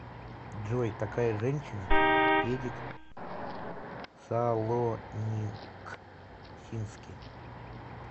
джой такая женщина эдик салоникски